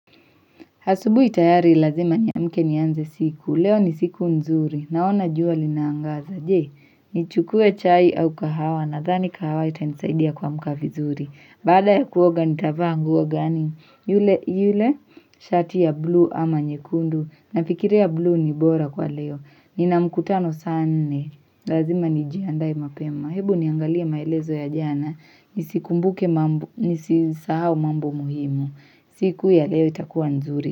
Asubuhi tayari lazima niamke nianze siku. Leo ni siku nzuri. Naona jua linaangaza. Je, nichukue chai au kahawa nadhani kahawa itanisaidia kuamka vizuri. Baada ya kuoga nitavaa nguo gani. Yule, yule, shati ya blue ama nyekundu. Nafikiria bluu ni bora kwa leo. Nina mkutano saa nne. Lazima nijiandae mapema. Hebu niangalie maelezo ya jana. Nisikumbuke mambo. Nisisahau mambo muhimu. Siku ya leo itakuwa nzuri.